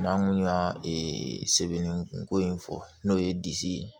Maa mun y'a sɛbɛnni ko in fɔ n'o ye disi ye